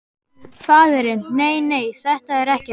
Faðirinn: Nei nei, þetta er ekkert.